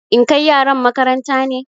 In kai yaran makaranta ne?